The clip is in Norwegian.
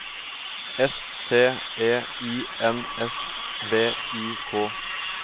S T E I N S V I K